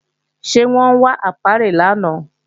Ṣé wọ́n wá ápíárì lánàá